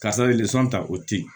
Karisa ta o te yen